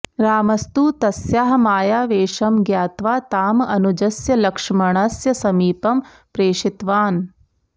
रामस्तु तस्याः मायावेषं ज्ञात्वा ताम् अनुजस्य लक्ष्मणस्य समीपं प्रेषितवान्